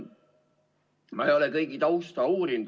Ma ei ole kõigi tausta uurinud.